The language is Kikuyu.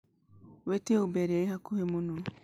wiĩtie ũber ĩria ĩhakuhi mũno